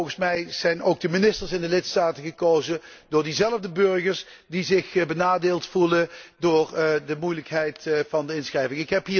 Want volgens mij zijn ook de ministers in de lidstaten gekozen door diezelfde burgers die zich benadeeld voelen door de moeilijkheid van de inschrijving.